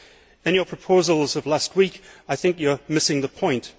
In your proposals of last week, I think you are missing the point.